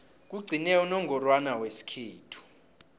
kugcine unongorwana wesikhethu